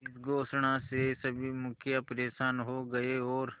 इस घोषणा से सभी मुखिया परेशान हो गए और